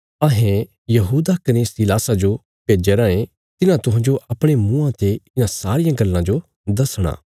अहें यहूदा कने सीलासा जो भेज्या राँये तिन्हां तुहांजो अपणे मुँआं ते इन्हां सारियां गल्लां जो दसणा